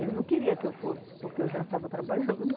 Ele não queria que eu fosse, porque eu já estava trabalhando